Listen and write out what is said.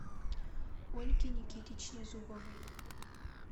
ольге никитичне зубовой